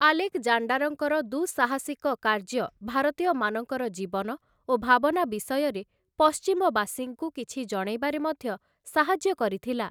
ଆଲେକ୍‌ଜାଣ୍ଡାରଙ୍କର ଦୁଃସାହସିକ କାର୍ଯ୍ୟ ଭାରତୀୟମାନଙ୍କର ଜୀବନ ଓ ଭାବନା ବିଷୟରେ ପଶ୍ଚିମବାସୀଙ୍କୁ କିଛି ଜଣେଇବାରେ ମଧ୍ୟ ସାହାଯ୍ୟ କରିଥିଲା ।